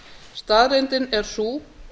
staðreyndin er sú